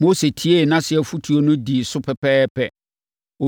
Mose tiee nʼase afotuo no dii so pɛpɛɛpɛ.